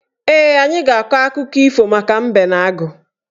Ee, anyị ga-akọ akụkọ ifo maka mbe na agụ